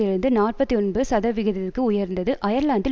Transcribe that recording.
இருந்து நாற்பத்தி ஒன்பது சதவிகிதத்திற்கு உயர்ந்தது அயர்லாந்தில்